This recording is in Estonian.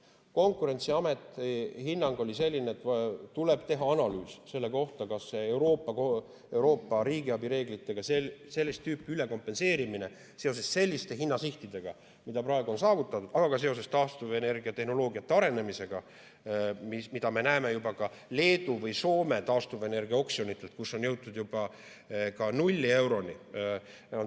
Konkurentsiameti hinnang oli selline, et tuleb teha analüüs Euroopa riigiabireeglitega sellist tüüpi ülekompenseerimise kohta seoses selliste hinnasihtidega, mis praegu on saavutatud, aga ka seoses taastuvenergiatehnoloogiate arenemisega, mida me näeme juba ka Leedu või Soome taastuvenergiaoksjonitel, kus on jõutud ka null euroni.